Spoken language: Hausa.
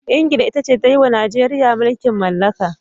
England ita ce ta yi wa Najeriya mulkin mallaka.